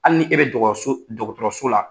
Hali ni e bɛ dɔgɔtɔrɔso la